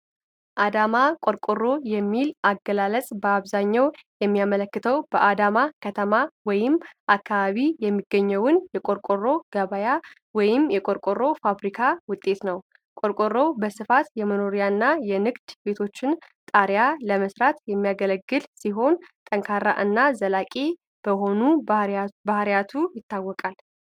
አዳማ ቆርቆሮ የሚለው አገላለጽ በአብዛኛው የሚያመለክተው በአዳማ ከተማ ወይም አካባቢ የሚገኘውን የቆርቆሮ ገበያ ወይም የቆርቆሮ ፋብሪካ ውጤት ነው። ቆርቆሮው በስፋት የመኖሪያና የንግድ ቤቶችን ጣሪያ ለመሥራት የሚያገለግል ሲሆን፣ ጠንካራና ዘላቂ በሆኑት ባህሪያቱ ይታወቃል።